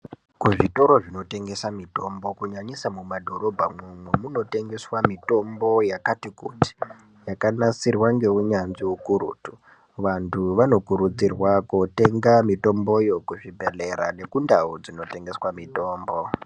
Kuzvitoro zvinotengesa mutombo kunyanyisa mumadhorobha mwomwo munotengeswa mutombo yakati kuti yakanasirwa ngeunyanzvi ukurutu vantu vanokurudzirwa kotenga mitomboyo kuzvibhedhlera nekundau dzinotengesa mutombo.